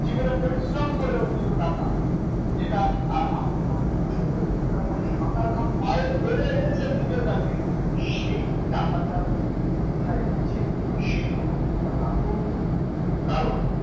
জীবনে পরিশ্রম করে অর্জিত টাকা যেটা আপনি অনেক কষ্ট করে রোজকার করেছেন মাথার ঘাম পায়ে ফেলে এনেছেন নিজের কাছে সেই টাকাটা কোথায় যাচ্ছে? সেই খবরটা রাখুন কারণ